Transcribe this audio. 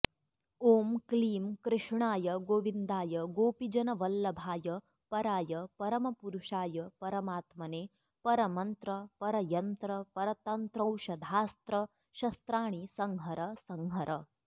ॐ क्लीं कृष्णाय गोविन्दाय गोपीजनवल्लभाय पराय परमपुरुषाय परमात्मने परमन्त्रपरयन्त्रपरतन्त्रौषधास्त्रशस्त्राणि संहर संहर